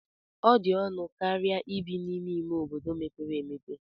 Ọ dị ọnụ karịa ibi n'ime ime obodo mepere emepe.